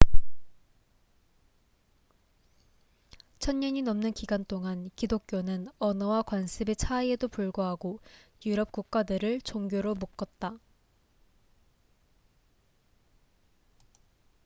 천년이 넘는 기간 동안 기독교는 언어와 관습의 차이에도 불구하고 유럽 국가들을 종교로 묶었다